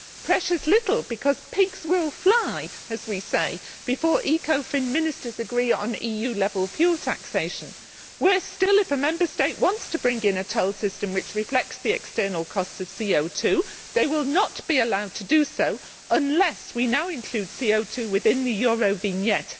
Precious few, because pigs will fly, as we say, before Ecofin ministers agree on EU level fuel taxation. Worse still, if a Member State wants to bring in a toll system that reflects the external costs of CO 2 they will not be allowed to do so unless we now include CO 2 within the Eurovignette.